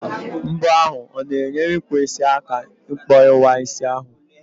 Mbọ ahụ o na-enyere ọkpụisi aka ị kpọwa isi ahụ?